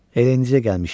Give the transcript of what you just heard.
Elə indicə gəlmişik.